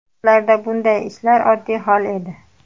U vaqtlarda bunday ishlar oddiy hol edi.